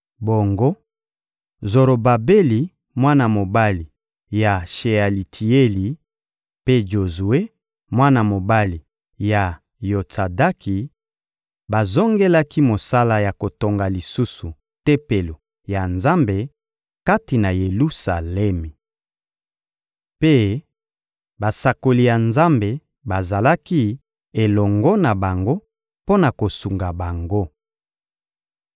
Bongo, Zorobabeli, mwana mobali ya Shealitieli, mpe Jozue, mwana mobali ya Yotsadaki, bazongelaki mosala ya kotonga lisusu Tempelo ya Nzambe kati na Yelusalemi. Mpe basakoli ya Nzambe bazalaki elongo na bango mpo na kosunga bango.